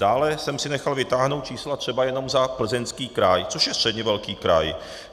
Dále jsem si nechal vytáhnout čísla třeba jenom za Plzeňský kraj, což je středně velký kraj.